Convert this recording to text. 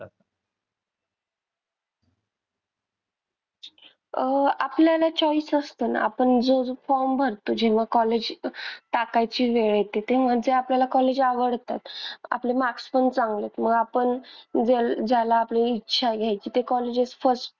अह आपल्याला choice असत ना आपण जर form भरतो जेव्हा college टाकायची वेळ येते तेव्हा जे आपल्याला college आवडतात आपले marks पण चांगलेत मग आपण ज्याला आपली इच्छा आहे घ्यायची ते first